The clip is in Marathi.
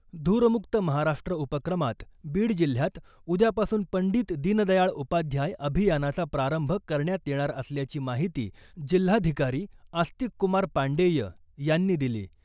धूरमुक्त महाराष्ट्र उपक्रमात बीड जिल्ह्यात उद्यापासून पंडित दीनदयाळ उपाध्याय अभियानाचा प्रारंभ करण्यात येणार असल्याची माहिती जिल्हाधिकारी आस्तिक कुमार पाण्डेय यांनी दिली .